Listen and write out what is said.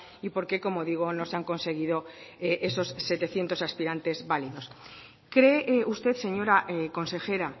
y por qué como digo no se han conseguido esos setecientos aspirantes válidos cree usted señora consejera